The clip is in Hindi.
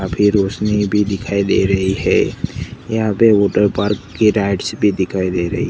काफी रोशनी भी दिखाई दे रही है यहां पे वाटरपार्क्स की राइट्स भी दिखाई दे रही--